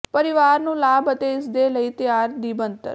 ਪਰਿਵਾਰ ਨੂੰ ਲਾਭ ਅਤੇ ਇਸ ਦੇ ਲਈ ਤਿਆਰ ਦੀ ਬਣਤਰ